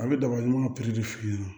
A bɛ daba ɲuman piri de f'i ɲɛna